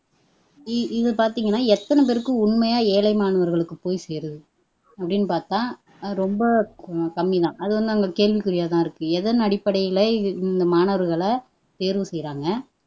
இது பாத்தீங்கன்னா எத்தனை பேருக்கு உண்மையா ஏழை மாணவர்களுக்கு போய் சேருது அப்படின்னு பாத்தா ரொம்ப கம்மிதான் அது வந்து கேள்விக்குரியாதான் இருக்கு எத்தன அடிப்படையில மாணவர்களை தேர்வு செய்யிறாங்க